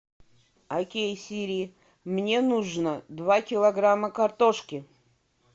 окей сири мне нужно два килограмма картошки